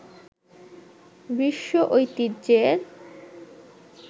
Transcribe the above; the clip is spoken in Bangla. বিশ্ব ঐতিহ্যের